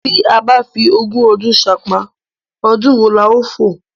Tí a bá fi ogún ọdún ṣánpá, ọdún wo la ó fò?